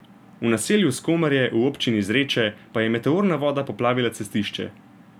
V naselju Skomarje v občini Zreče pa je meteorna voda poplavila cestišče.